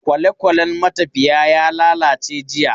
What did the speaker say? Kwalekwalen matafiya ya lalace jiya.